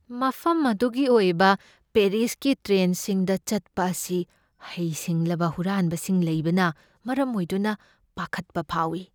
ꯃꯐꯝ ꯑꯗꯨꯒꯤ ꯑꯣꯏꯕ ꯄꯦꯔꯤꯁꯀꯤ ꯇ꯭ꯔꯦꯟꯁꯤꯡꯗ ꯆꯠꯄ ꯑꯁꯤ ꯍꯩꯁꯤꯡꯂꯕ ꯍꯨꯔꯥꯟꯕꯁꯤꯡ ꯂꯩꯕꯅ ꯃꯔꯝ ꯑꯣꯏꯗꯨꯅ ꯄꯥꯈꯠꯄ ꯐꯥꯎꯏ꯫